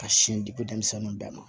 Ka sin di ko denmisɛnninw bɛɛ ma